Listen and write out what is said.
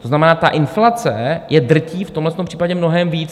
To znamená, ta inflace je drtí v tomhle případě mnohem víc.